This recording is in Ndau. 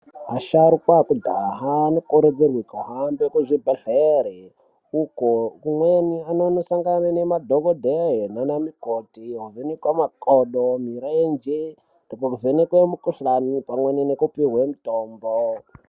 Asharukwa ekudhaha anokurudzirwe kuhambe kuzvibhehlere uko kumweni anondosangane nanadhokodheya nana mukoti ovhenekwe makodo ,mirenje nekuvhenkwe mukuhlani pamwe nekupihwe mutombo.